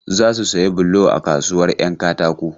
Za su sayi bulo a kasuwar 'yan katako.